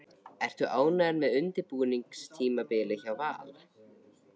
Ertu ánægður með undirbúningstímabilið hjá Val?